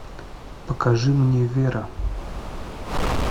покажи мне вера